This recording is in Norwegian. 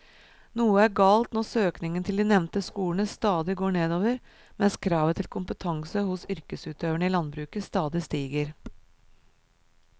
Noe er galt når søkningen til de nevnte skolene stadig går nedover mens kravet til kompetanse hos yrkesutøverne i landbruket stadig stiger.